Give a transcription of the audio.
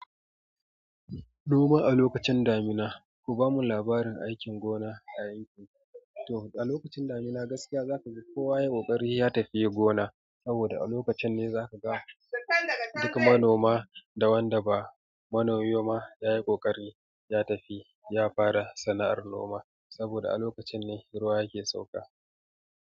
Noma a lokacin damina, ku bamu labarin aikin gona a yankin ku. To a lokacin damina gaskiya za ka ga kowa ya yi ƙoƙari ya tafi gona. Saboda a lokacin ne za ka ga duk manoma da wanda ba manomi ba ya yi ƙoƙari ya tafi ya fara sana'ar noma. Saboda a lokacin ne ruwa yake sauka.